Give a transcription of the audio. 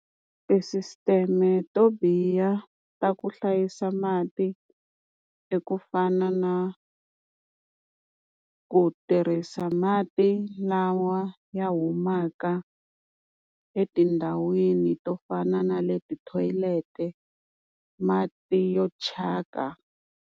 Tisisiteme to biha ta ku hlayisa mati, i ku fana na ku tirhisa mati lawa ya humaka etindhawini to fana na le tithoyilete, mati yo thyaka.